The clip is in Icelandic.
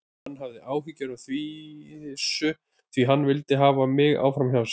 Hann hafði áhyggjur af þessu því hann vildi hafa mig áfram hjá sér.